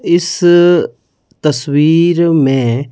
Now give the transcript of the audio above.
इस तस्वीर में--